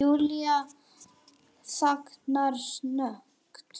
Júlía þagnar snöggt.